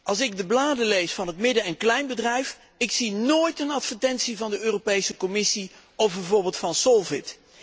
Als ik de bladen lees van het midden en kleinbedrijf, zie ik nooit een advertentie van de Europese Commissie of bijvoorbeeld van Solvit.